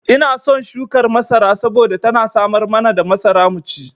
Ina son shukar masara saboda tana samar mana da masara mu ci.